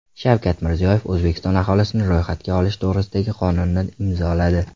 Shavkat Mirziyoyev O‘zbekiston aholisini ro‘yxatga olish to‘g‘risidagi qonunni imzoladi.